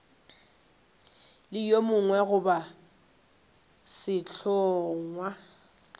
le yo mongwe goba sehlongwa